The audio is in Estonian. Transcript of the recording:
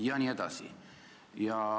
Ja nii edasi.